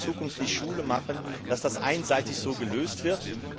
Es kann in Zukunft nicht Schule machen, dass dies einseitig so gelöst wird.